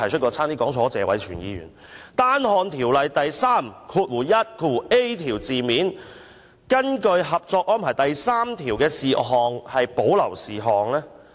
關於《條例草案》第 31a 條，根據《合作安排》第三條訂明的事項，即屬保留事項。